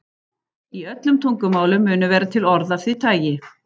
Í öllum tungumálum munu vera til orð af því tagi.